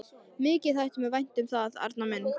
Mikið þætti mér vænt um það, Arnar minn!